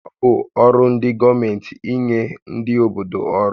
Ọ bụ ọrụ ndị gọọmenti ínyé ndị obodo ọrụ